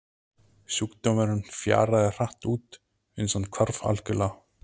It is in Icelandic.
Sjúkdómurinn fjaraði hratt út uns hann hvarf algjörlega.